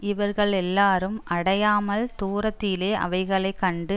இவர்களெல்லாரும் அடையாமல் தூரத்திலே அவைகளை கண்டு